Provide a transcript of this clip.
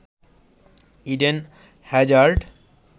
Eden Hazard